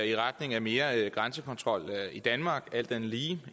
i retning af mere grænsekontrol i danmark alt andet lige